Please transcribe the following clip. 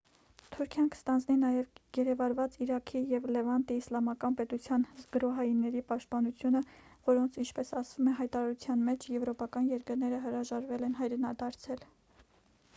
թուրքիան կստանձնի նաև գերեվարված իրաքի և լևանտի իսլամական պետության գրոհայինների պաշտպանությունը որոնց ինչպես ասվում է հայտարարության մեջ եվրոպական երկրները հրաժարվել են հայրենադարձել